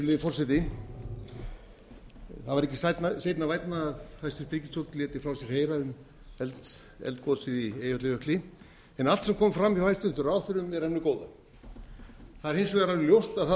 virðulegi forseti það var ekki seinna vænna að hæstvirt ríkisstjórn léti frá sér heyra um eldgosið í eyjafjallajökli en allt sem kom fram hjá hæstvirtum ráðherrum er af hinu góða það er hins vegar alveg ljóst að það